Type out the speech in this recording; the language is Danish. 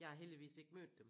Jeg har heldigvis ikke mødt dem